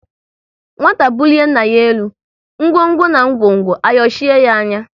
Nwata bulie nna ya elu, ngwo ngwo na ngwongwo ayochie ya anya